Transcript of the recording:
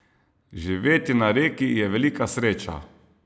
Živeti na Reki je velika sreča.